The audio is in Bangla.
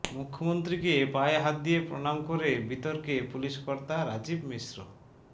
মুখ্যমন্ত্রীকে পায়ে হাত দিয়ে প্রণাম করে বিতর্কে পুলিশকর্তা রাজীব মিশ্র